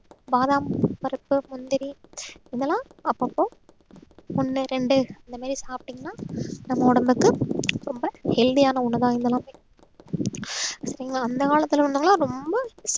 பாதாம் பருப்பு, முந்திரி இதெல்லாம் அப்பப்போ ஒண்ணு ரெண்டு இந்த மாதிரி சாப்பிட்டீங்கன்னா நம்ம உடம்புக்கு ரொம்ப healthy ஆன ஒண்ணுதான் இதெல்லாமே சரிங்களா அந்த காலத்தில உள்ளவங்கெல்லாம் ரொம்ப